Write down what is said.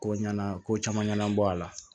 Ko ɲɛna ko caman ɲɛnabɔ a la